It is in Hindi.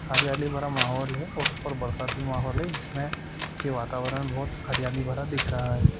हरियाली भरा माहौल है और ऊपर बरसाती माहौल है जिसमें के वातावरण बहोत हरियाली भरा दिख रहा है।